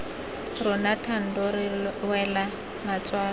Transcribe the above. rona thando re wela matswalo